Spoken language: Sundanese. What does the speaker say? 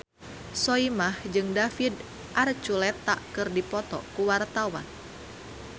Soimah jeung David Archuletta keur dipoto ku wartawan